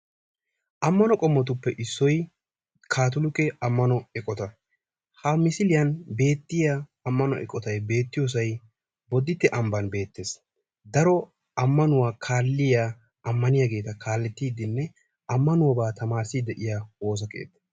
Amanno qomottuppe issoy kaattolikke amanno eqotta. Ha missilliyaani beettiyaa amanno eqottay beettiyosay Boditte ambani beettees. Daro amannuwaa kalliyaa amanniyagetta kaallettidinne amannuwabba tamarissidi de'yaa woossa keetta.